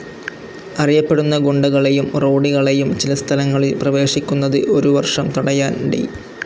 അറിയപ്പെടുന്ന ഗുണ്ടകളെയും റൌഡികളെയും ചില സ്ഥലങ്ങളിൽ പ്രവേശിക്കുന്നത് ഒരു വർഷം തടയാൻ ഡി.